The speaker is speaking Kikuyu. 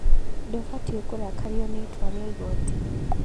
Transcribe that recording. Ndũbatie kũrakario nĩ itua rĩa igoti